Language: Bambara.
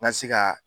N ka se ka